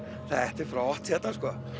þetta er flott hérna sko